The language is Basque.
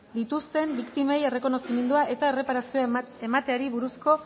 dituzten biktimei errekonozimendua eta erreparazioa emateari buruzko